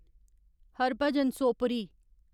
Harbhajan Sopori